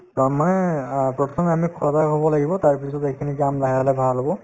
to আম মানে আ প্ৰথমে আমি খোৱা হব লাগিব তাৰপিছত এইখিনি কাম লাহে লাহে ভাল হব